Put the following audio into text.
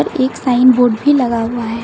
एक sign board भी लगा हुआ है।